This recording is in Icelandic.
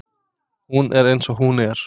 Hún er eins og hún er.